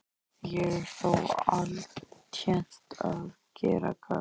Ég er þó altént að gera gagn.